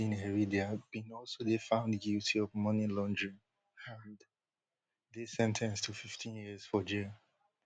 in heredia bin also dey found guilty of money laundering and dey sen ten ced to fifteen years for jail